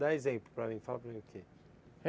Dá exemplo para mim, fala para mim o que é